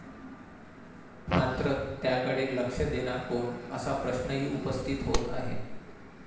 मात्र त्याकडे लक्ष देणार कोण असा प्रश्नही उपस्थित होत आहे.